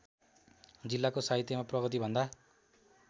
जिल्लाको साहित्यमा प्रगतिभन्दा